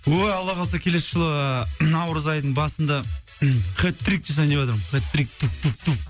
ой алла қаласа келесі жылы наурыз айының басында хет трик жасайын деватырмын хет трик